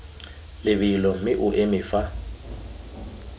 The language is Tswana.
lebelo mme o eme fa